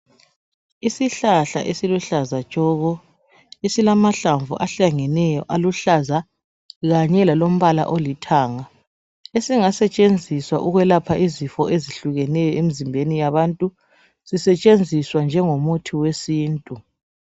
Isihlahla esiluhlaza tshoko ezilamahlamvu ahlangeneyo aluhlaza kanye lalombala olithanga esingasetshenziswa ukwelapha izifo ezehlukeneyo emzimbeni yabantu sisetshenziswa njengomuthi wesintu